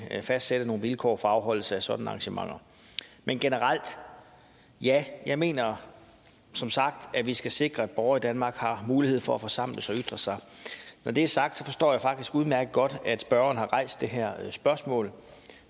at fastsætte nogle vilkår for afholdelse af sådanne arrangementer men generelt ja jeg mener som sagt at vi skal sikre at borgere i danmark har mulighed for at forsamle sig og ytre sig når det er sagt forstår jeg faktisk udmærket godt at spørgeren har rejst det her spørgsmål